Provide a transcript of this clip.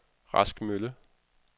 Rask Mølle